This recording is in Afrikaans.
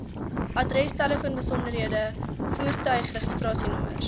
adresse telefoonbesonderhede voertuigregistrasienommers